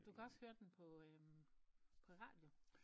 Du kan også høre den på øh på radio